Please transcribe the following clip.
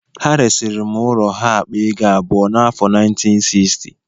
Ha resiri m ụlọ ha akpa ego abụọ na afọ 1960